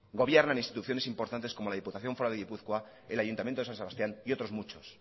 gobiernan instituciones importantes como la diputación foral de gipuzkoa el ayuntamiento de san sebastián y otros muchos